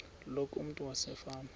loku umntu wasefama